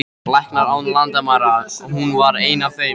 Læknar án landamæra, hún var ein af þeim.